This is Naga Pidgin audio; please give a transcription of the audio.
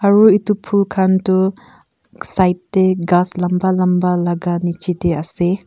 aru etu phul khan tu side teh ghass lamba lamba laga nicche teh ase.